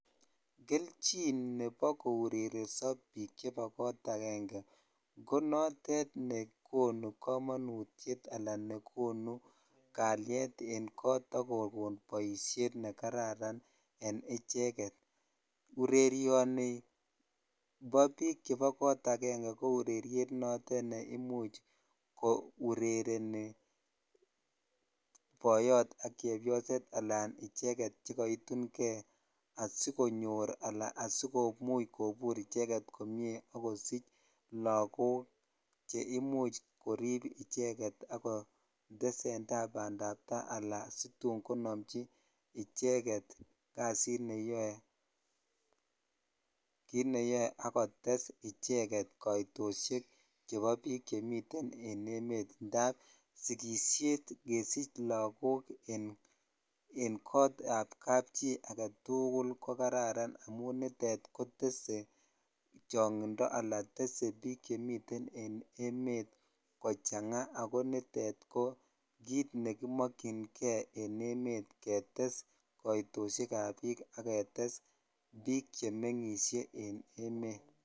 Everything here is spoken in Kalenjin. Kelchin nebo kourereso biik chebo kot akeng'e ko notet nekonu komonutiet alaan nekonu kalyet en koot ak kokon boishet nekararan en icheket, urerioni bo biik akenge ko ureriet notet neimuch ko urereni boyot ak chebioset alaan icheket chekoitung'e asikonyor alaan asikobur icheket komie ak kosich lokok cheimuch koriib icheket ak kotesenta bandab taai alaan situn konomchi icheket kasit neyoe, kiit neyoe ak kotes icheket koitosiek chebo biik chemiten en emet ndaab sikishet kesich lokok en kootab kapchi aketukul ko kararan amun nitet kotese chong'indo alaa tese biik chemiten en emet kochang'a ak ko nitet ko kiit nekimokying'e en emet ketes koitoshekab biik ak ketes biik chemeng'ishe en emet.